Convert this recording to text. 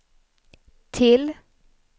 till